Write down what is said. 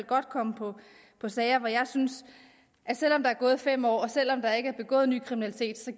godt komme på sager hvor jeg synes at selv om der er gået fem år og selv om der ikke er begået ny kriminalitet så